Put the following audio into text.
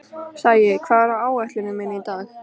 Sæi, hvað er á áætluninni minni í dag?